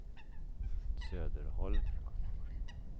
Söderholm